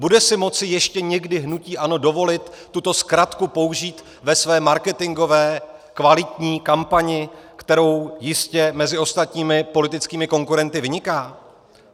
Bude si moci ještě někdy hnutí ANO dovolit tuto zkratku použít ve své marketingové kvalitní kampani, kterou jistě mezi ostatními politickými konkurenty vyniká?